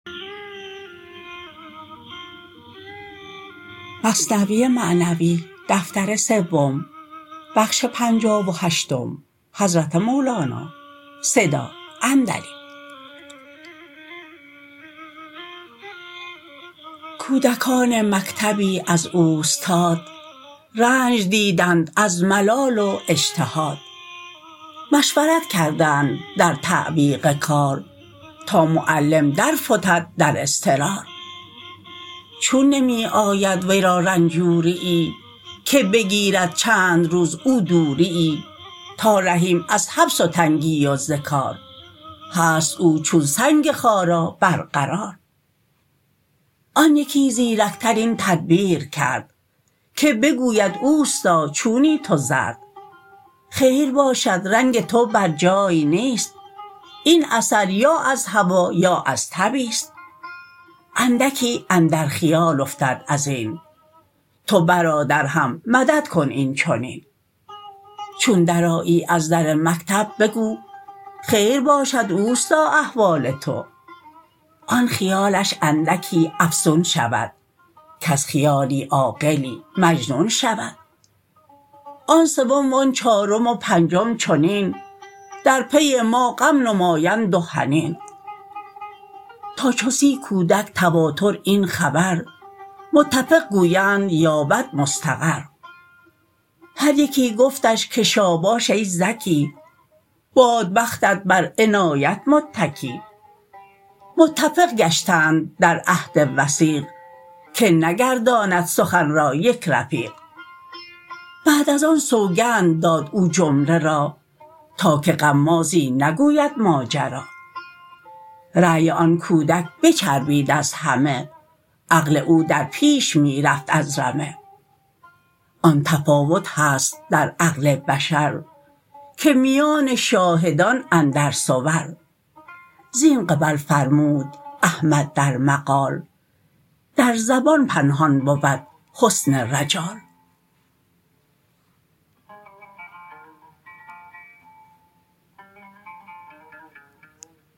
کودکان مکتبی از اوستاد رنج دیدند از ملال و اجتهاد مشورت کردند در تعویق کار تا معلم در فتد در اضطرار چون نمی آید ورا رنجوریی که بگیرد چند روز او دوریی تا رهیم از حبس و تنگی و ز کار هست او چون سنگ خارا بر قرار آن یکی زیرکتر این تدبیر کرد که بگوید اوستا چونی تو زرد خیر باشد رنگ تو بر جای نیست این اثر یا از هوا یا از تبیست اندکی اندر خیال افتد ازین تو برادر هم مدد کن این چنین چون درآیی از در مکتب بگو خیر باشد اوستا احوال تو آن خیالش اندکی افزون شود کز خیالی عاقلی مجنون شود آن سوم و آن چارم و پنجم چنین در پی ما غم نمایند و حنین تا چو سی کودک تواتر این خبر متفق گویند یابد مستقر هر یکی گفتش که شاباش ای ذکی باد بختت بر عنایت متکی متفق گشتند در عهد وثیق که نگرداند سخن را یک رفیق بعد از آن سوگند داد او جمله را تا که غمازی نگوید ماجرا رای آن کودک به چربید از همه عقل او در پیش می رفت از رمه آن تفاوت هست در عقل بشر که میان شاهدان اندر صور زین قبل فرمود احمد در مقال در زبان پنهان بود حسن رجال